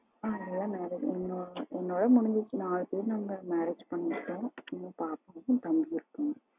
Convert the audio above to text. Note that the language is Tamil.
ஆ எல்லாம் marriage என்னோட முடிஞ்சிச்சு நாலு பேரு நாங்க marriage பண்ணிட்டோம் இன்னும் பாப்பாவும் தம்பியும் இருக்காங்க